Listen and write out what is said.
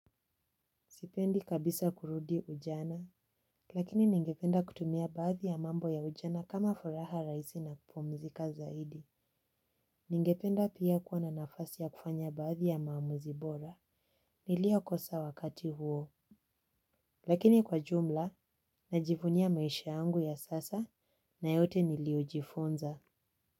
Sipendi kabisa kurudi ujana. Lakini ningependa kutumia baadhi ya mambo ya ujana kama furaha raisi na kupumzika zaidi. Ningependa pia kuwa na nafasi ya kufanya baadhi ya maamuzi bora. Nilio kosa wakati huo. Lakini kwa jumla, najivunia maisha yangu ya sasa na yote niliojifunza.